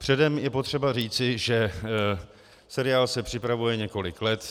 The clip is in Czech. Předem je potřeba říci, že seriál se připravuje několik let.